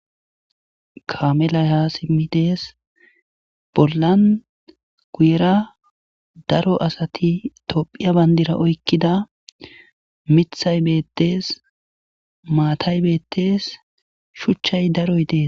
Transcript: Kamelay ha simmi dees bollan guuyera daro asati tophiya bandira oykkida mithay beettees maatay beettees shuchchay daroy dees.